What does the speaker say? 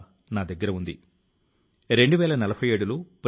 మీరు దేనిలో పని చేసినప్పటికీ అంకిత భావం తో ఉండండి